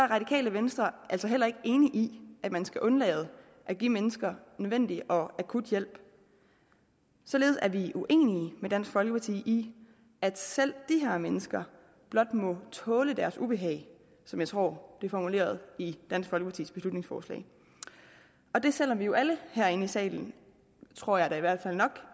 radikale venstre altså heller ikke enig i at man skal undlade at give mennesker nødvendig og akut hjælp således er vi uenige med dansk folkeparti i at selv de her mennesker blot må tåle deres ubehag som jeg tror det er formuleret i dansk folkepartis beslutningsforslag og det selv om vi jo alle herinde i salen tror jeg da i hvert fald nok